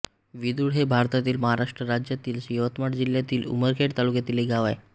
विदुळ हे भारतातील महाराष्ट्र राज्यातील यवतमाळ जिल्ह्यातील उमरखेड तालुक्यातील एक गाव आहे